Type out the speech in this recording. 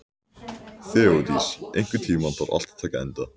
Þeódís, einhvern tímann þarf allt að taka enda.